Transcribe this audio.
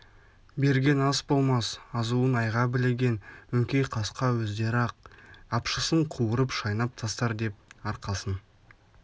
берген ас болмас азуын айға білеген өңкей қасқа өздері-ақ апшысын қуырып шайнап тастар деп арқасын